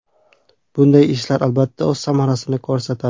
Bunday ishlar, albatta, o‘z samarasini ko‘rsatadi.